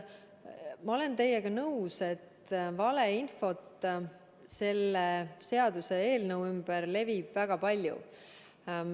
Ma olen teiega nõus, et valeinfot selle seaduseelnõu ümber levib väga palju.